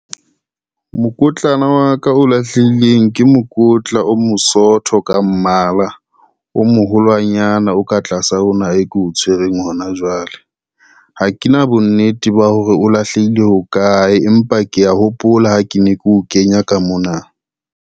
Mokotlana wa ka o lahlehileng ke mokotla o mosotho ka mmala, o mo holwanyana o ka tlasa ona e ko o tshwereng hona jwale. Ha ke na bonnete ba hore o lahlehile hokae, empa kea hopola ha ke ne ke o kenya ka mona.